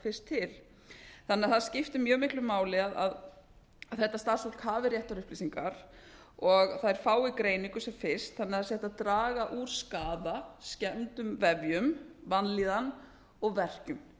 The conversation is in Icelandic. fyrst til það skiptir mjög miklu máli að þetta starfsfólki hafi réttar upplýsingar og það fái greiningu sem fyrst þannig að það sé hægt að draga úr skaða skemmdum vefjum vanlíðan og verkjum